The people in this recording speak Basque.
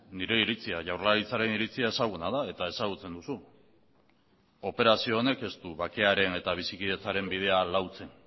nire iritzia jaurlaritzaren iritzia ezaguna da eta ezagutzen duzu operazio honek ez du bakearen eta bizikidetzaren bidea lautzen